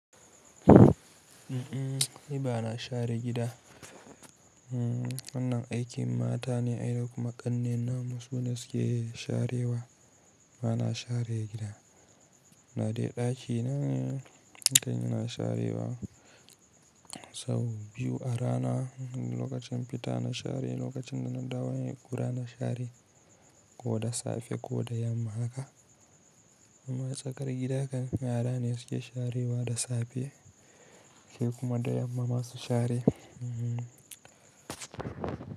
A'a, ni ba na share gida. Wannan aikin mata ne ai, da kuma ƙannena ma su ne suke sharewa. Ba na share gida. Da dai ɗakina ne, idan ina sharewa. Sau biyu a rana, lokacin fita na share, lokacin da na dawo kuma na share. Ko da safe ko da yamma haka. Amma tsakar gida kan yara ne suke sharewa da safe, sai kuma da yamma ma su share.